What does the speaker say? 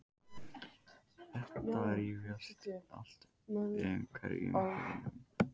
Þetta rifjast allt upp fyrir honum.